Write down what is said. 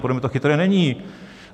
Podle mě to chytré není.